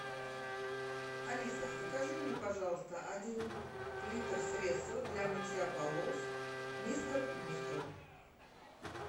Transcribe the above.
алиса закажи мне пожалуйста один литр средства для мытья полов мистер мускул